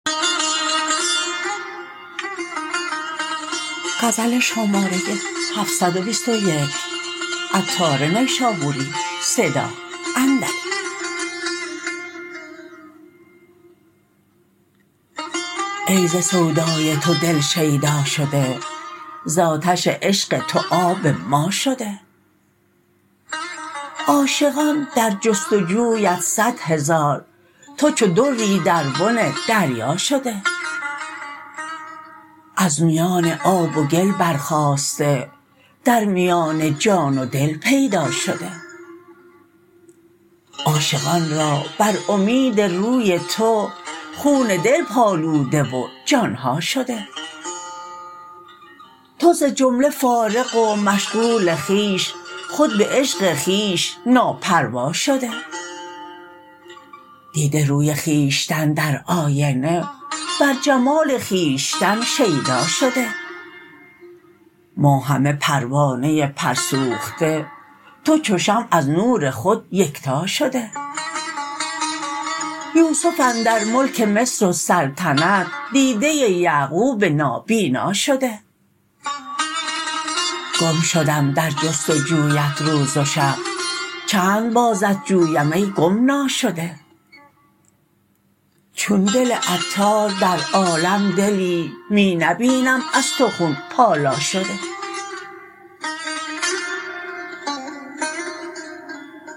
ای ز سودای تو دل شیدا شده زآتش عشق تو آب ما شده عاشقان در جست و جویت صد هزار تو چو دری در بن دریا شده از میان آب و گل برخاسته در میان جان و دل پیدا شده عاشقان را بر امید روی تو خون دل پالوده و جانها شده تو ز جمله فارغ و مشغول خویش خود به عشق خویش ناپروا شده دیده روی خویشتن در آینه بر جمال خویشتن شیدا شده ما همه پروانه پر سوخته تو چو شمع از نور خود یکتا شده یوسف اندر ملک مصر و سلطنت دیده یعقوب نابینا شده گم شدم در جست و جویت روز و شب چند بازت جویم ای گم ناشده چون دل عطار در عالم دلی می نبینم از تو خون پالا شده